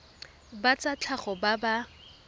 ba tsa tlhago ba ba